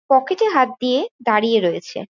পকেটে হাত দিয়ে দাঁড়িয়ে রয়েছে।